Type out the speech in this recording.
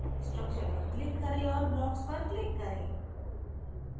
structure पर click करें और blocks पर click करें